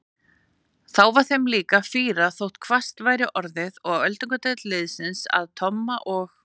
Þá var þeim líka fýrað þótt hvasst væri orðið og öldungadeild liðsins að Tomma og